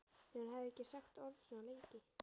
Þegar hún hafði ekki sagt orð svona lengi.